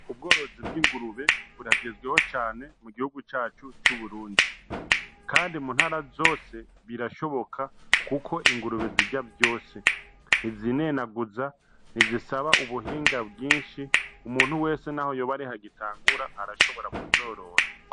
Ubworozi bw'ingurube buragezweho cane mu gihugu cacu c'Uburundi, kandi mu ntara zose birashoboka kuko ingurube zirya vyose, ntizinenaguza, ntizisaba ubuhinga bwinshi, umuntu wese naho yoba ariho agitangura arashobora kuzorora.